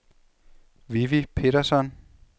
Vivi Petersson